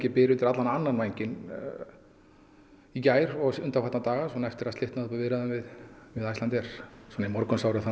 byr undir alla vega annan vænginn í gær og undanfarna daga svona eftir að slitnaði upp úr viðræðum við Icelandair svona í morgunsárið þá